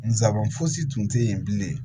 Nsaban fosi tun tɛ yen bilen